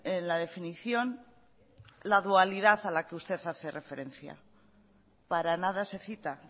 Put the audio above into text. en la definición la dualidad a la que usted hace referencia para nada se cita